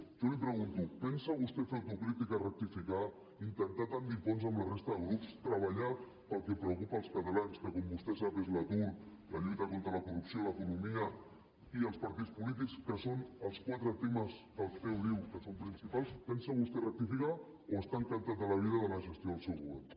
jo li pregunto pensa vostè fer autocrítica rectificar intentar tendir ponts amb la resta de grups treballar pel que preocupa els catalans que com vostè sap és l’atur la lluita contra la corrupció l’economia i els partits polítics que són els quatre temes que el ceo diu que són principals pensa vostè rectificar o està encantat de la vida de la gestió del seu govern